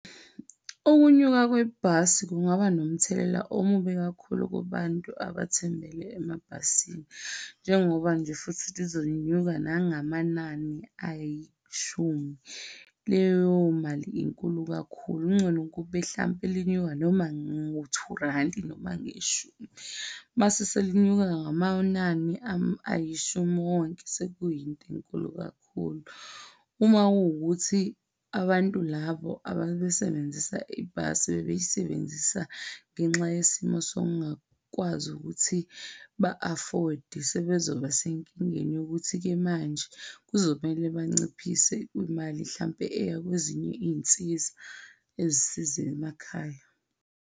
Ukunyuka kwebhasi kungaba nomthelela omubi kakhulu kubantu abathembele emabhasini njengoba nje futhi lizonyuka nangamanani ayishumi. Leyo mali inkulu kakhulu, kungcono kube mhlampe linyuka noma ngo two rand-i, noma ngeshumi, uma selinyuka ngamanani ayishumi wonke sekuyinto inkulu kakhulu. Uma kuwukuthi abantu labo ababesebenzisa ibhasi bebeyisebenzisa ngenxa yesimo sokungakwazi ukuthi ba-afford-e sebezoba senkingeni yokuthi-ke manje kuzomele banciphise imali mhlampe eya kwezinye izinsiza ezisiza emakhaya.